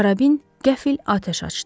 Karabin qəfil atəş açdı.